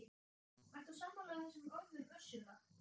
Ertu sammála þessum orðum Össurar?